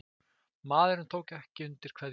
Maðurinn tók ekki undir kveðjuna.